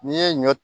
N'i ye ɲɔ